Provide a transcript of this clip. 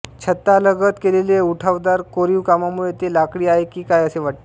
छतालगत केलेले उठावदार कोरीवकामामुळे ते लाकडी आहे की काय असे वाटते